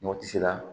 Mɔgɔ tɛ se ka